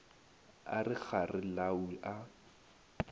a re kgare lau a